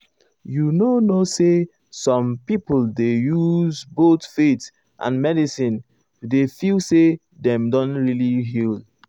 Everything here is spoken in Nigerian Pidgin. you know now some people dey use both faith and medicine to ah feel say dem don really heal.